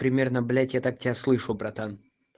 примерно блять я так тебя слышу братан